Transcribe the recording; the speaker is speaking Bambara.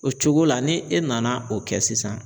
O cogo la ni e nana o kɛ sisan.